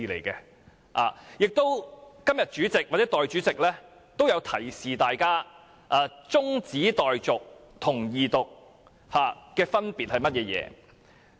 今天主席或代理主席均有提醒議員中止待續和二讀的分別為何。